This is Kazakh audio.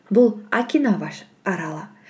бұл окинава аралы